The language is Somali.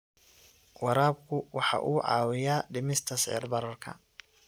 Waraabku waxa uu caawiyaa dhimista sicir bararka.